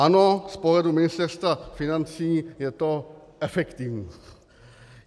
Ano, z pohledu Ministerstva financí je to efektivní.